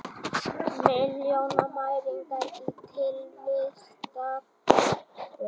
Milljónamæringar í tilvistarkreppu